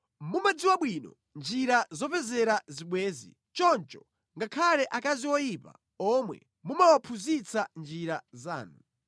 Mumadziwa bwino njira zopezera zibwenzi! Choncho ngakhale akazi oyipa omwe mumawaphunzitsa njira zanu.